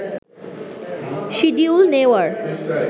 schedule নেওয়ার